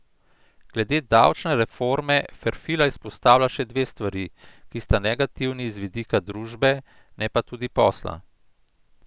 Glede davčne reforme Ferfila izpostavlja še dve stvari, ki sta negativni z vidika družbe, ne pa tudi posla.